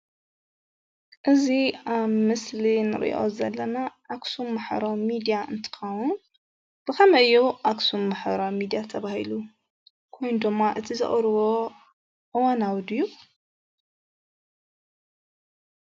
እዚ አብ ምስሊ ንሪኦ ዘለና አክሱም ማሕበራዊ ሚድያ እንትከውን ብከመይ እዩ አክሱም ማሕበራዊ ሚድያ ተባሂሉ? ከምኡ ድማ እቲ ዘቅርቡ እዋናዊ ዱዩ?